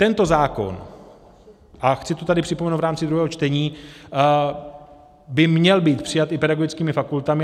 Tento zákon, a chci to tady připomenout v rámci druhého čtení, by měl být přijat i pedagogickými fakultami.